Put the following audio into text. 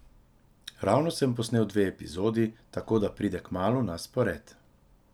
Ravno sem posnel dve epizodi, tako da pride kmalu na spored.